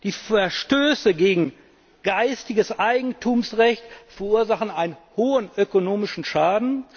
Die Verstöße gegen geistiges Eigentumsrecht verursachen einen hohen ökonomischen Schaden.